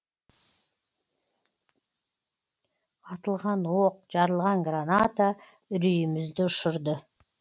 атылған оқ жарылған граната үрейімізді ұшырды